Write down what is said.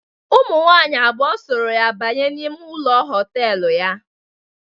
Ụmụnwaanyị abụọ sooro ya banye n'ime ụlọ họtelu ya.